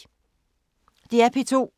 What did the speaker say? DR P2